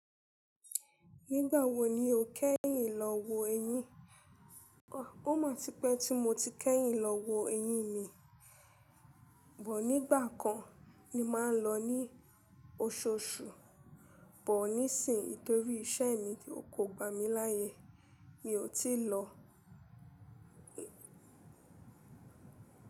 Nígbà wo ni o kẹ́yìn lọ wo eyín? Ó má tipẹ́ tí mo ti kẹ́yìn lọ wo eyín mi. But nígbà kan mo maà ń lọ ní osoosù, but nísinyí torí iṣẹ́ mi kò gba mi láyé, mi ò tí lọ.